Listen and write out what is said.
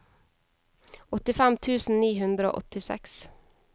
åttifem tusen ni hundre og åttiseks